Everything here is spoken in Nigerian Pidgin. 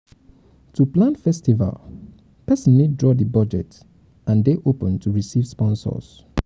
to plan festival persin need draw di budget and de open to receive sponsors